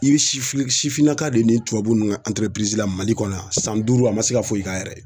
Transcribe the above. I be sifinna sifinnaka de nin tubabu nun ŋa la Mali kɔnɔ yan, san duuru a ma se ka foyi k'a yɛrɛ ye.